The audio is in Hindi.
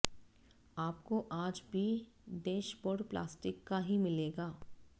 आपको आज भी डैशबोर्ड प्लास्टिक का ही मिलेगा